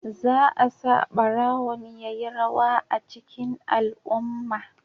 Za a sa barawon ya yi rawa a cikin al'umma.